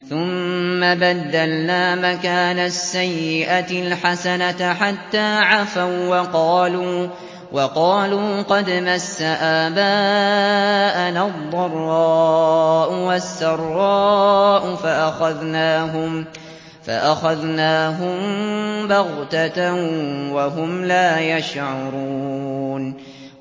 ثُمَّ بَدَّلْنَا مَكَانَ السَّيِّئَةِ الْحَسَنَةَ حَتَّىٰ عَفَوا وَّقَالُوا قَدْ مَسَّ آبَاءَنَا الضَّرَّاءُ وَالسَّرَّاءُ فَأَخَذْنَاهُم بَغْتَةً وَهُمْ لَا يَشْعُرُونَ